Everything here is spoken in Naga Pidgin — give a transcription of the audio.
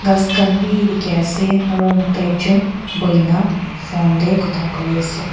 kas khan bi dikhi asey aro moto ekjun bhuiyina phone deh kotha kuri asey.